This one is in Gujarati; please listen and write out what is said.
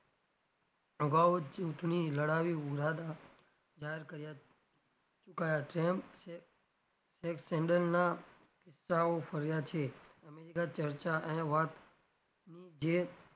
અભાવો ચુંટણી લડાવી ઉરાદા જાહેર કર્યા ચૂકયા છે તેમ છે કિસ્સાઓ ફર્યા છે america ચર્ચા અને વાત ની જે,